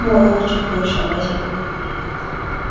বড় ছোট সবাই সেখানে গিয়ে জামা কাপ--